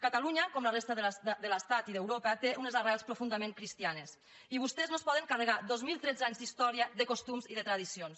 catalunya com la resta de l’estat i d’europa té unes arrels profundament cristianes i vostès no es poden carregar dos mil tretze anys d’història de costums i de tradicions